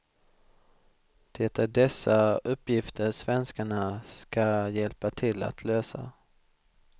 Det är dessa uppgifter svenskarna ska hjälpa till att lösa.